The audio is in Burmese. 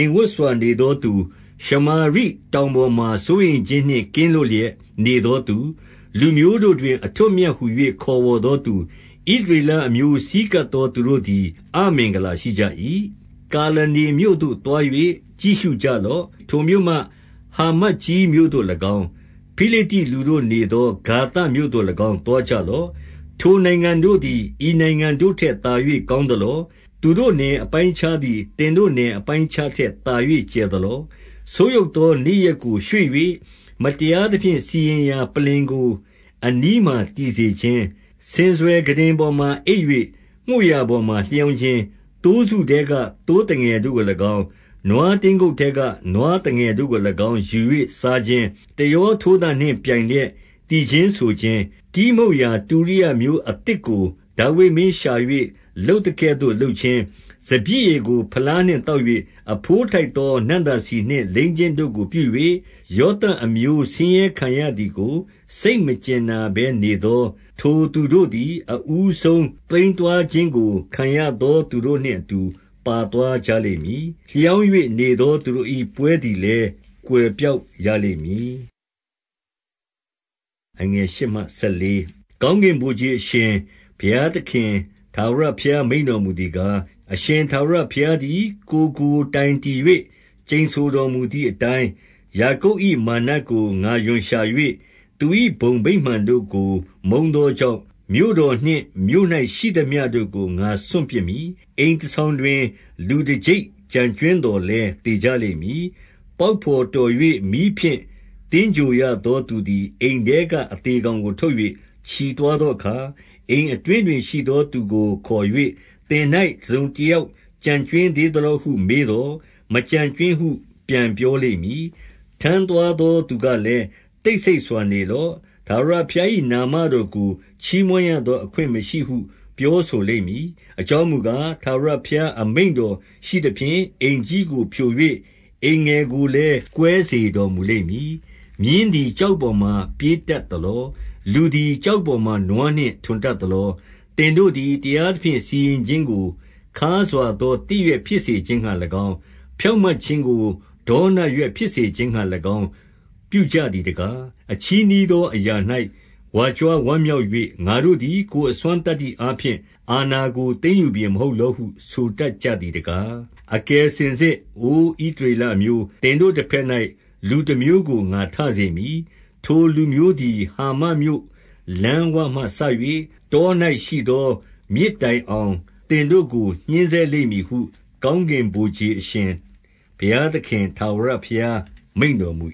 မ်ဝပ်စွာနေသောသူ၊ ရှမာရိတောင်ပေါ်မှာ စိုးရိမ်ခြင်းနှင့် ကင်းလွတ်လျက်နေသောသူ၊ လူမျိုးတို့တွင် အထွဋ်အမြတ်ဟူ၍ ခေါ်ဝေါ်သောသူ၊ ဣသရေလအမျိုး ဆည်းကပ်သောသူတို့သည် အမင်္ဂလာရှိ ကြ၏။ 2 ကာလနေမြို့သို့သွား၍ ကြည့်ရှုကြလော့။ ထိုမြို့မှဟာမတ်ကြီးမြို့သို့၎င်း၊ ဖိလိတ္တိလူတို့နေသော ဂါသမြို့ သို့၎င်း သွားကြလော့။ ထိုနိုင်ငံတို့သည် ဤနိုင်ငံတို့ထက်သာ၍ ကောင်းသလော။ သူတို့နယ်အပိုင်းအခြားသည် သင်တို့နယ်အပိုင်းအခြားထက်သာ၍ ကျယ်သလော။ 3 ဆိုးယုတ်သော နေ့ရက်ကို ရွှေ့၍၊ မတရားသဖြင့် စီရင်ရာပလ္လင်ကို အနီးမှာတည်စေခြင်း၊ 4 ဆင်စွယ်ခုတင်ပေါ်မှာ အိပ်၍ မွေ့ရာပေါ်မှာလျောင်းခြင်း၊ သိုးစုထဲက သိုးသငယ်တို့ကို၎င်း၊ နွားတင်း ကုပ်ထဲက နွားသငယ်တို့ကို၎င်း ယူ၍စားခြင်း၊ 5 တယောထိုးသံနှင့်ပြိုင်လျက် သီချင်းဆိုခြင်း၊ တီးမှုတ်ရာတုရိယာမျိုးအသစ်ကို ဒါဝိဒ်မင်းရှာ၍ လုပ်သကဲ့သို့ လုပ်ခြင်း၊ 6 စပျစ်ရည်ကို ဖလားနှင့်သောက်၍၊ အဘိုးထိုက်သော နံ့သာဆီနှင့် လိမ်းခြင်းတို့ကိုပြု၍၊ ယောသပ်အမျိုး ဆင်းရဲခံရသည်ကို စိတ်မကြင်နာဘဲနေသော၊ 7 ထိုသူတို့သည် အဦးဆုံးသိမ်းသွားခြင်းကို ခံရသောသူတို့နှင့်အတူ ပါသွားကြလိမ့်မည်။ လျောင်း၍ နေသောသူတို့၏ ပွဲသည်လည်း ကွယ်ပျောက်ရလိမ့်မည်။ 8 ကောင်းကင်ဗိုလ်ခြေအရှင် ဘုရားသခင်ထာဝရ ဘုရား မိန့်တော်မူသည်ကား၊ အရှင်ထာဝရဘုရားသည် ကိုယ်ကိုတိုင်တည်၍ ကျိန်ဆိုတော်မူသည်အတိုင်း၊ ယာကုပ်၏မာနကို ငါရွံရှာ၍ သူ၏ဘုံဗိမာန်တို့ကိုမုန်း သောကြောင့်၊ မြို့တော်နှင့် မြို့၌ရှိသမျှကို ငါစွန့်ပစ်မည်။ 9 အိမ်တဆောင်တွင် လူတကျိပ်ကျန်ကြွင်းသော်လည်း သေကြလိမ့်မည်။ 10 ပေါက်ဘော်တော်၍ မီးဖြင့် သင်္ဂြိုဟ်ရသော သူသည် အိမ်ထဲကအသေကောင်ကိုထုတ်၍ ချီသွား သောအခါ၊ အိမ်အတွင်းတွင်ရှိသော သူကိုခေါ်၍၊ သင်၌ တစုံတယောက်ကျန်ကြွင်းသေးသလောဟု မေးသော်၊ မကျန်ကြွင်းဟု ပြန်ပြောလိမ့်မည်။ ထမ်းသွားသောသူကလည်း၊ တိတ်ဆိတ်စွာနေလော့။ ထာဝရဘုရား၏ နာမတော်ကို ချီးမွမ်းရသော အခွင့်မရှိဟု ပြောဆိုလိမ့် မည်။ 11 အကြောင်းမူကား၊ ထာဝရဘုရားအမိန့်တော် ရှိသဖြင့်၊ အိမ်ကြီးကိုဖြို၍ အိမ်ငယ်ကိုလည်း ကွဲစေတော် မူလိမ့်မည်။ 12 မြင်းသည် ကျောက်ပေါ်မှာ ပြေးတတ်သလော။ လူသည် ကျောက်ပေါ်မှာ နွားနှင့် ထွန်တတ်သလော။ သင်တို့သည် တရားသဖြင့် စီရင်ခြင်းကို ခါးစွာသော သစ်ရွက်ဖြစ်စေခြင်းငှါ၎င်း၊ ဖြောင့်မတ်ခြင်းကို ဒေါနရွက် ဖြစ်စေခြင်းငှါ၎င်း ပြုကြသည်တကား။ 13 အချည်းနှီးသောအရာ၌ ဝါကြွားဝမ်းမြောက်၍၊ ငါတို့သည် ကိုယ်အစွမ်းသတ္တိအားဖြင့် အာဏာကို သိမ်းယူပြီမဟုတ်လောဟု ဆိုတတ်ကြသည်တကား။ 14 အကယ်စင်စစ်၊ အိုဣသရေလအမျိုး၊ သင်တို့ တဘက်၌ လူတမျိုးကို ငါထစေ၊ ထိုလူမျိုးသည် ဟာမတ် မြို့လမ်းဝမှစ၍ တော၌ရှိသော မြစ်တိုင်အောင် သင်တို့ကို ညှဉ်းဆဲလိမ့်မည်ဟု၊ ကောင်းကင်ဗိုလ်ခြေအရှင် ဘုရားသခင်ထာဝရဘုရား မိန့်တော်မူ